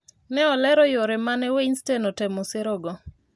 ne olero yore mane Weinstein otemo serego